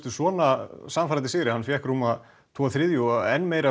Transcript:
við svona sannfærandi sigri hann fær rúma tvo þriðju og enn meiri